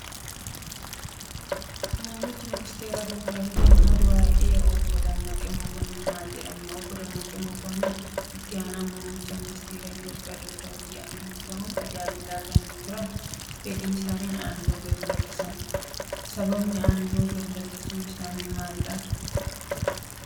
Muummichi Ministeeraa Doktor Abiy Ahimad Waa'ee Obbo Dammaqee Mokonnon maal jedhani. Obbo Dammaqee Mokonnon itti aanaa muummicha Ministeera Itoophiyaa Doktor Abiy Ahimad ta'uun tajaajilaa kan turan fedhii isaaniin aangoo gad lakkisan. Sababni aangoo gadi lakkisuu isaanii maali?